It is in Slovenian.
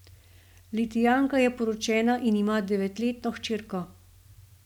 Litijanka je poročena in ima devetletno hčerko.